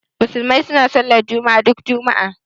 Musulmai suna sallar juma'a duk juma'a